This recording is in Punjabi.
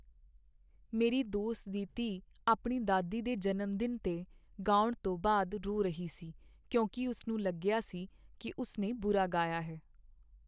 ਮੇਰੀ ਦੋਸਤ ਦੀ ਧੀ ਆਪਣੀ ਦਾਦੀ ਦੇ ਜਨਮ ਦਿਨ 'ਤੇ ਗਾਉਣ ਤੋਂ ਬਾਅਦ ਰੋ ਰਹੀ ਸੀ ਕਿਉਂਕਿ ਉਸ ਨੂੰ ਲੱਗਿਆ ਸੀ ਕੀ ਉਸ ਨੇ ਬੁਰਾ ਗਾਇਆ ਹੈ।